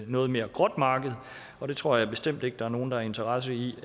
noget mere gråt marked og jeg tror bestemt ikke der er nogen der har interesse i